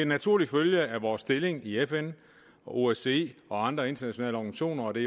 naturlig følge af vores stilling i fn osce og andre internationale organisationer og det